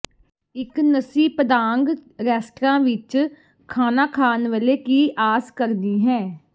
ਇੱਕ nasi Padang restaurant ਵਿੱਚ ਖਾਣਾ ਖਾਣ ਵੇਲੇ ਕੀ ਆਸ ਕਰਨੀ ਹੈ